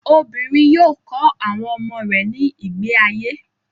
Obìnrin yóò kọ́ àwọn ọmọ rẹ̀ ní ìgbé ayé.